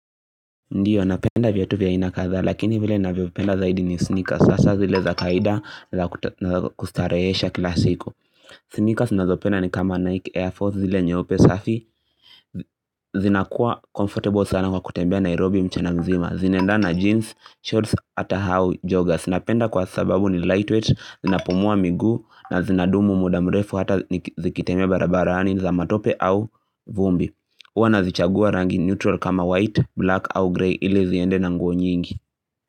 Ndiyo napenda viatu vya aina kadhaa lakini vile navyopenda zaidi ni sneakers hasa zile za kawaida na kustarehesha kila siku. Sneakers nazopenda ni kama Nike Air Force zile nyeupe safi zinakuwa comfortable sana kwa kutembea Nairobi mchana mzima. Zinaendana na jeans, shorts ata hau joggers. Napenda kwa sababu ni lightweight, zinapumua miguu na zinadumu muda mrefu hata zikitembea barabarani, za matope au vumbi Huwa nazichagua rangi neutral kama white, black au grey ili ziende na nguo nyingi.